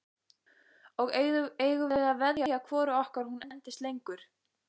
Og eigum við að veðja hvoru okkar hún endist lengur?